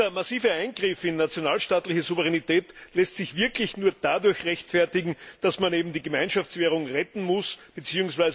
Dieser massive Eingriff in nationalstaatliche Souveränität lässt sich wirklich nur dadurch rechtfertigen, dass man eben die Gemeinschaftswährung retten muss bzw.